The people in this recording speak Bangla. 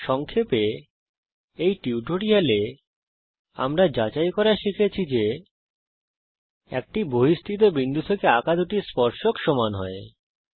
সংক্ষেপে এই টিউটোরিয়াল এ আমরা যাচাই করা শিখেছি যে একটি বহিস্থিত বিন্দু থেকে আঁকা দুটি স্পর্শক সমান হয